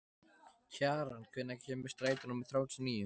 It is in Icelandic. Kjaran, hvenær kemur strætó númer þrjátíu og níu?